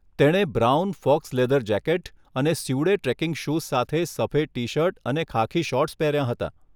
તેણે brown, faux leather jacket અને suede trekking shoes સાથે સફેદ ટી શર્ટ અને ખાખી શોર્ટ્સ પહેર્યા હતા.